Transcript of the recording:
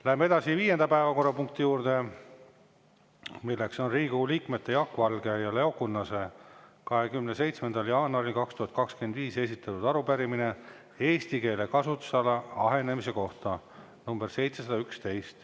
Läheme edasi viienda päevakorrapunkti juurde, milleks on Riigikogu liikmete Jaak Valge ja Leo Kunnase 27. jaanuaril 2025 esitatud arupärimine eesti keele kasutusala ahenemise kohta, nr 711.